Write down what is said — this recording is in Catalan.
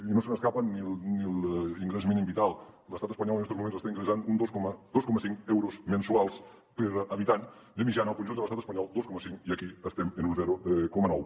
i no se n’escapa ni l’ingrés mínim vital l’estat espanyol en estos moments està ingressant dos coma cinc euros mensuals per habitant de mitjana al conjunt de l’estat espanyol dos coma cinc i aquí estem en un zero coma nou